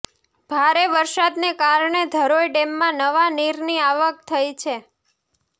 ભારે વરસાદને કારણે ધરોઈ ડેમમાં નવા નીરની આવક થઈ છે